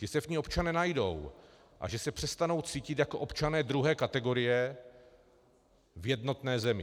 Že se v ní občané najdou a že se přestanou cítit jako občané druhé kategorie v jednotné zemi.